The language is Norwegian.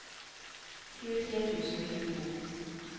tjuetre tusen og tjueto